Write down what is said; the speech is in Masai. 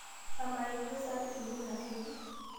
amaa ijio saa keshukunye asioki